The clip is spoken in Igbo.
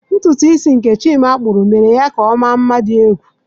Ntutu isi nke Chima kpuru mere ya ka ọ mma nma di egwu.